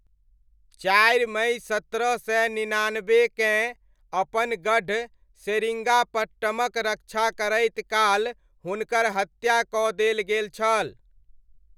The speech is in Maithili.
चारि मइ सत्रह सय निनानब्बेकेँ अपन गढ़ सेरिङ्गापट्टमक रक्षा करैत काल हुनकर हत्या कऽ देल गेल छल।